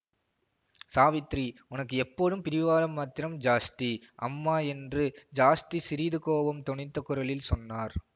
சாவித்திரி உனக்கு எப்போதும் பிடிவாதம் மாத்திரம் ஜாஸ்தி அம்மா என்று ஜாஸ்தி சிறிது கோபம் தொனித்த குரலில் சொன்னார்